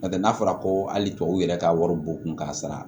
N'o tɛ n'a fɔra ko hali tubabu yɛrɛ ka wari bon kun ka sara